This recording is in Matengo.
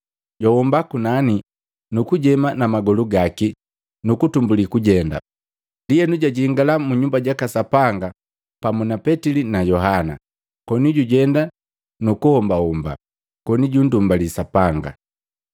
Jwahoba kunani, nukujema namagolu gaki nukutumbuli kujenda. Ndienu jwajingala mu Nyumba jaka Sapanga pamu na Petili na Yohana koni jujenda nuku hombahomba koni junndumbali Sapanga.